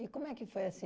E como é que foi